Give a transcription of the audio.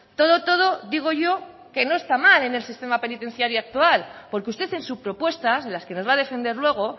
todo todo digo yo que no está mal en el sistema penitenciario actual porque usted en sus propuestas las que nos va a defender luego